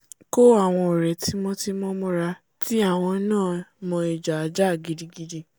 kó àwọn ọ̀rẹ́ tímọ́-timọ́ mọ́ra tí àwọn náà mọ ìjà á jà gidigidi